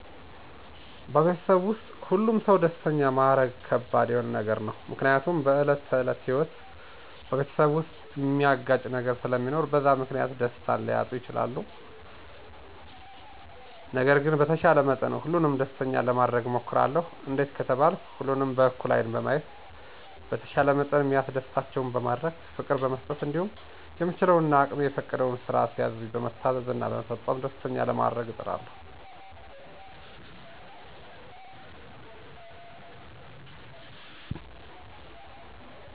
በቤተሰብ ዉስጥ ሁሉን ሰው ደስተኛ ማረግ ከባድ የሆነ ነገር ነው፤ ምክንያቱም በዕለት ተዕለት ህይወት በቤተሰብ ዉስጥ ሚያጋጭ ነገር ስለሚኖር በዛ ምክንያት ደስታን ሊያጡ ይችላሉ። ነገር ግን በተቻለ መጠን ሁሉንም ደስተኛ ለማረግ እሞክራለሁ፤ እንዴት ከተባልኩ ሁሉንም በእኩል ዐይን በማየት፣ በተቻለኝ መጠን ሚያስደስታቸውን በማድረግ፣ ፍቅር በመስጠት እንዲሁም የምችለው እና አቅሜ የሚፈቅደውን ስራ ሲያዙኝ በመታዘዝ እና በመፈጸም ደስተኛ ለማረግ እጥራለሁ።